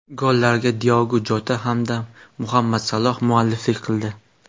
Gollarga Diogu Jota hamda Muhammad Saloh mualliflik qildi.